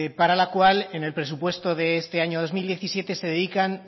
para la cual en el presupuesto de este año dos mil diecisiete se dedican